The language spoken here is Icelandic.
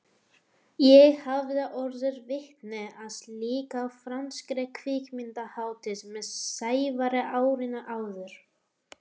Ég hafði orðið vitni að slíku á franskri kvikmyndahátíð með Sævari árinu áður.